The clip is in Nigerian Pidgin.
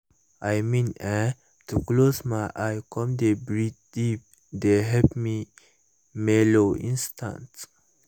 i mean[um]to close my eyes come dey breath deep dey help me mellow instanta